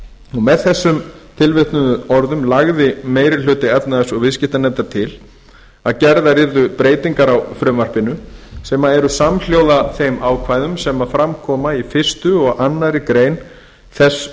með þessum tilvitnuðu orðum lagði meiri hluti efnahags og viðskiptanefndar til að gerðar yrðu breytingar á frumvarpinu sem eru samhljóða þeim ákvæðum sem fram koma í fyrsta og annarrar greinar þess